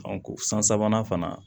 san sabanan fana